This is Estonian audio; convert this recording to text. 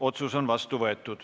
Otsus on vastu võetud.